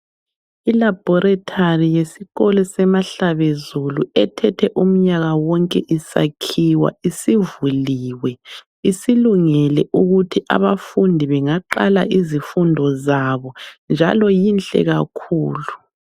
I laboratory yesikolo seMahlabezulu ethethe umnyaka wonke isakhiwa isivuliwe. Isilungele ukuthi abafundi bengaqala izifundo zabo, njalo inhle kakhulu.